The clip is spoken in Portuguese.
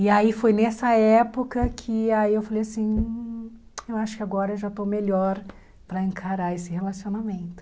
E aí foi nessa época que aí eu falei assim, eu acho que agora eu já estou melhor para encarar esse relacionamento.